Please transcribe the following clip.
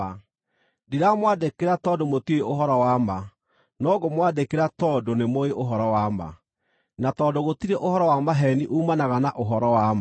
Ndĩramwandĩkĩra tondũ mũtiũĩ ũhoro wa ma, no ngũmwandĩkĩra tondũ nĩmũũĩ ũhoro wa ma, na tondũ gũtirĩ ũhoro wa maheeni uumanaga na ũhoro wa ma.